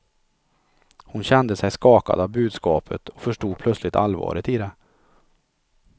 Hon kände sig skakad av budskapet och förstod plötsligt allvaret i det.